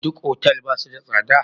Duk otal ba su da tsada?